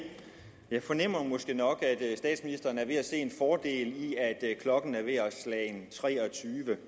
jeg fornemmer måske nok at statsministeren er ved at se en fordel i at klokken er ved at være slagen tre og tyve